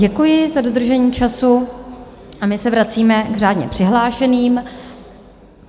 Děkuji za dodržení času a my se vracíme k řádně přihlášeným.